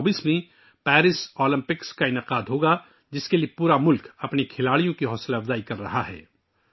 اب Paris Olympics 2024 میں ہوں گے جس کے لیے پورا ملک اپنے کھلاڑیوں کی حوصلہ افزائی کر رہا ہے